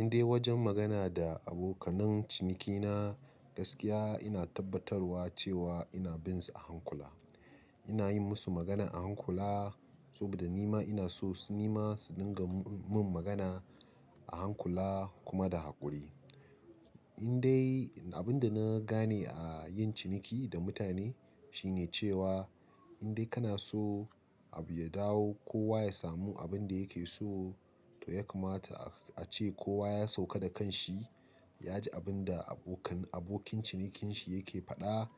Indai wajen magana da abokanan ciniki na, gaskiya ina tabbatarwa cewa ina binsa a hankula. Ina yi musu magana a hankula saboda nima ina so su ma su dinga min magana a hankula kuma da haƙuri. Indai abin da na gane a yin ciniki da mutane shine cewa in dai kana so abu ya dawo, kowa ya samu abin da yake so, to ya kamata a ce kowa ya sauka da kanshi, ya ji abin da abokin cinikin shi yake faɗa,